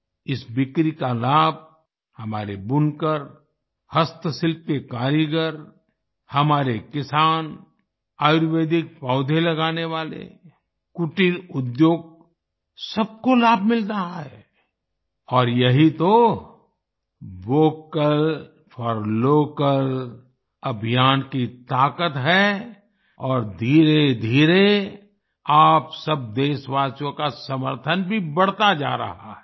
इस बिक्री का लाभ हमारे बुनकर हस्तशिल्प के कारीगर हमारे किसान आयुर्वेदिक पौधे लगाने वाले कुटीर उद्योग सबको लाभ मिल रहा है और यही तो वोकल फॉर लोकल अभियान की ताकत है और धीरेधीरे आप सब देशवासियों का समर्थन भी बढ़ता जा रहा है